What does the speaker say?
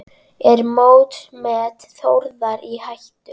Er mótsmet Þórðar í hættu?